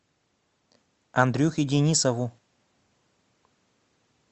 андрюхе денисову